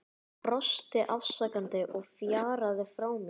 Hann brosti afsakandi og fjaraði frá mér.